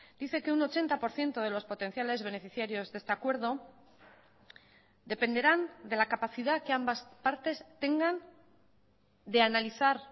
dice que un ochenta por ciento de los potenciales beneficiarios de este acuerdo dependerán de la capacidad que ambas partes tengan de analizar